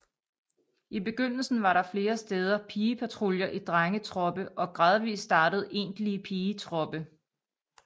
I begyndelsen var der flere steder pigepatruljer i drengetroppe og gradvist startede egentlige pigetroppe